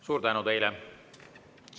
Suur tänu teile!